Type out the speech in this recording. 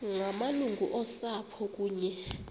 ngamalungu osapho kunye